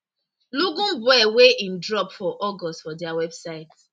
lungu boy wey im drop for august for dia website